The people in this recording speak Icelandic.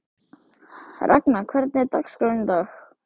Ragna, hvernig er dagskráin í dag?